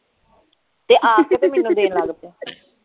ਤੇ ਆਕੇ ਤੇ ਮੈਨੂੰ ਦੇਣ ਲੱਗ ਪਿਆ